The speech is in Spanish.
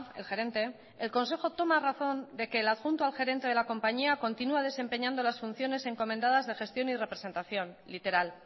el gerente el consejo toma razón de que el adjunto al gerente de la compañía continua desempeñando las funciones encomendadas de gestión y representación literal